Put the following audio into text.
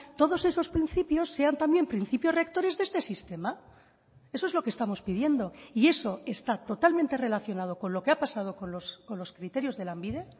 todos esos principios sean también principios rectores de este sistema eso es lo que estamos pidiendo y eso está totalmente relacionado con lo que ha pasado con los criterios de lanbide